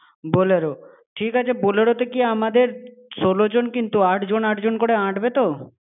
bolero । ঠিক আছে, bolero কি আমাদের ষোলোজন কিন্তু, আটজন-আটজন করে আঁটবে তো?